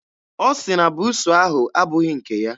Ọ sị na buusu ahụ abụghị nke ya.